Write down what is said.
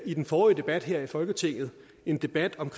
i den forrige debat her i folketinget en debat om